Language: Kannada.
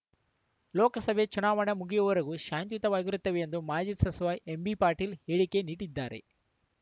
ಲೋಕಸಭೆ ಚುನಾವಣೆ ಮುಗಿಯುವವರೆಗೂ ಶಾಂತಿಯುತವಾಗಿರುತ್ತೇವೆಂದು ಮಾಜಿ ಸಚಿವ ಎಂಬಿಪಾಟೀಲ್‌ ಹೇಳಿಕೆ ನೀಡಿದ್ದಾರೆ